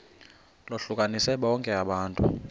lohlukanise bonke abantu